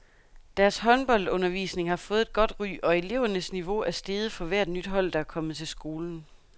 Deres håndboldundervisning har fået et godt ry, og elevernes niveau er steget for hvert nyt hold, der er kommet til skolen.